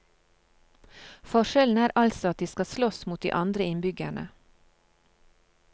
Forskjellen er altså at de skal slåss mot de andre innbyggerne.